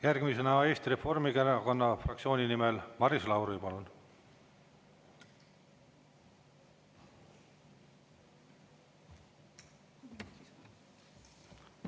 Järgmisena Eesti Reformierakonna fraktsiooni nimel Maris Lauri, palun!